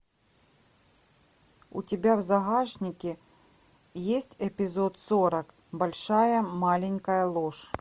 у тебя в загашнике есть эпизод сорок большая маленькая ложь